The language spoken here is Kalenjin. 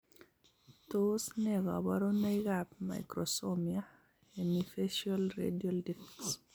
Tos ne kabarunoik ab microsomia hemifacial radial defects?